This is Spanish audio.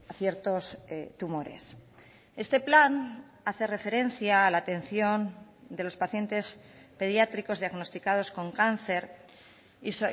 ciertos tumores este plan hace referencia a la atención de los pacientes pediátricos diagnosticados con cáncer y